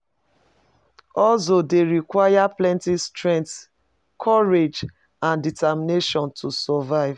Hustle dey require plenty strength, courage and determination to survive.